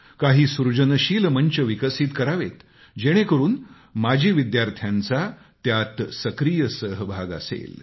काही सृजनशील मंच विकसित करावेत जेणेकरुन माजी विद्यार्थ्यांचा त्यात सक्रीय सहभाग असेल